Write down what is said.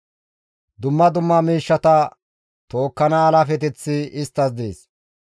«Dumma dumma miishshata tookkana alaafeteththi isttas dees.